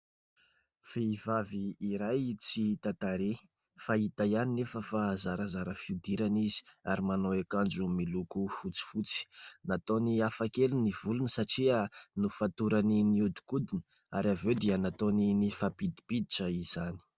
Vehivavy iray tsy hita tarehy fa hita ihany anefa fa zarazara fihodirana izy ary manao akanjo miloko fotsifotsy. Nataony hafakely ny volony satria nofatorany nihodinkodina ary avy eo dia nataony nifampidimpiditra izany.